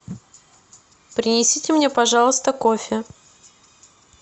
принесите мне пожалуйста кофе